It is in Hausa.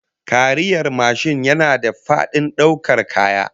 Kariyar mashin yana da fadin daukar kaya